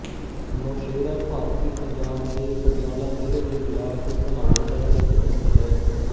ਨੋਸ਼ੇਰਾ ਭਾਰਤੀ ਪੰਜਾਬ ਦੇ ਪਟਿਆਲਾ ਜ਼ਿਲ੍ਹੇ ਦੇ ਬਲਾਕ ਘਨੌਰ ਦਾ ਇੱਕ ਪਿੰਡ ਹੈ